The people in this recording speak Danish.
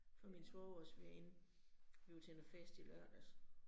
For min svogers veninde blev til en fest i lørdags